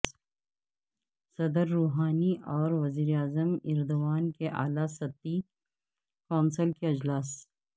صدر روحانی ا ور وزیر اعظم ایردوان کی اعلی سطحی کونسل کے اجلاس